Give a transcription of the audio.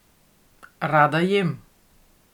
Rada jem.